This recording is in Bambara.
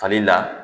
Fali la